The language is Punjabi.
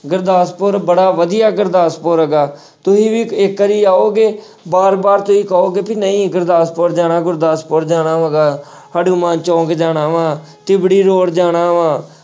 ਗੁਰਦਾਸਪੁਰ ਬੜਾ ਵਧੀਆ ਗੁਰਦਾਸਪੁਰ ਹੈਗਾ, ਤੁਸੀਂ ਵੀ ਇੱਕ ਵਾਰੀ ਆਓਗੇ ਵਾਰ-ਵਾਰ ਤੁਸੀਂ ਕਹੋਗੇ ਵੀ ਨਹੀਂ ਗੁਰਦਾਸਪੁਰ ਜਾਣਾ, ਗੁਰਦਾਸਪੁਰ ਜਾਣਾ ਹੈਗਾ ਹਨੂੰਮਾਨ ਚੌਂਕ ਜਾਣਾ ਵਾਂ, ਤਿਬੜੀ road ਜਾਣਾ ਵਾਂ,